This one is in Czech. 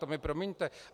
To mi promiňte.